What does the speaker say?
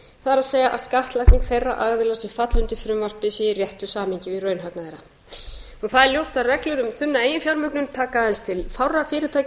það er að skattlagning þeirra aðila sem falla undir frumvarpið sé í réttu samhengi við raunhagnað þeirra það er ljóst að reglur um þunna eiginfjármögnun taka aðeins til fárra fyrirtækja á